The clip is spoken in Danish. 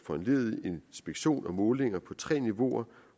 foranlediget inspektion og målinger på tre niveauer